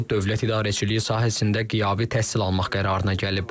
O dövlət idarəçiliyi sahəsində qiyabi təhsil almaq qərarına gəlib.